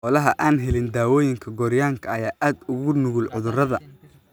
Xoolaha aan helin daawaynta gooryaanka ayaa aad ugu nugul cudurrada.